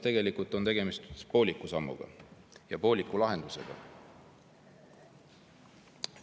Tegelikult on tegemist pooliku sammu ja pooliku lahendusega.